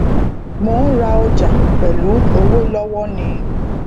mò n ra ọjà pẹlú owó lọwọ nin